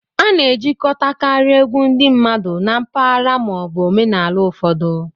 A na-ejikọtakarị egwu ndị mmadụ na mpaghara ma ọ bụ omenala ụfọdụ.